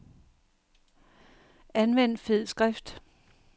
Anvend fed skrift.